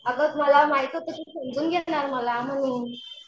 अगं मला माहित होतं तू समजून घेणार मला म्हणून